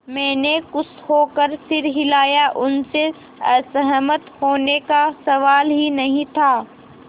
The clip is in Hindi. मैंने खुश होकर सिर हिलाया उनसे असहमत होने का सवाल ही नहीं था